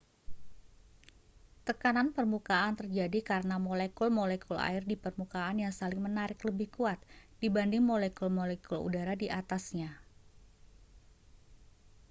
tekanan permukaan terjadi karena molekul-molekul air di permukaan yang saling menarik lebih kuat dibanding molekul-molekul udara di atasnya